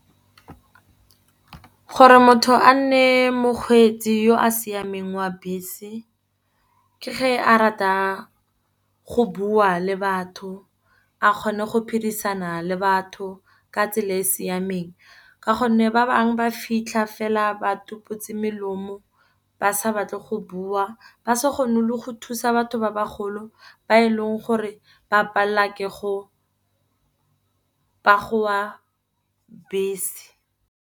Gore motho a nne mokgweetsi yo a siameng wa bese ke ge a rata go bua le batho. A kgone go phidisana le batho ka tsela e e siameng, ka gonne ba bangwe ba fitlha fela ba tsuputse melomo, ba sa batle go bua. Ba se kgone le go thusa batho ba ba golo ba e leng gore ba palelwa ke go bese.